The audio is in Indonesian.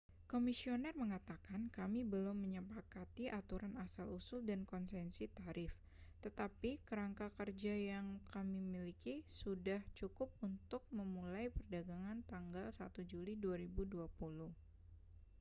"komisioner mengatakan kami belum menyepakati aturan asal usul dan konsesi tarif tetapi kerangka kerja yang kami miliki sudah cukup untuk memulai perdagangan tanggal 1 juli 2020".